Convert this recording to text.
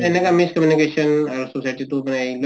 সেনেকুৱা miss communication